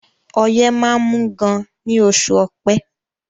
Ọyẹ́ máá ń mú gan ní oṣù ọpẹ́